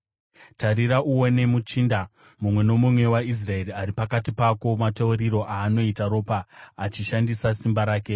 “ ‘Tarira uone muchinda mumwe nomumwe waIsraeri ari pakati pako mateuriro aanoita ropa achishandisa simba rake.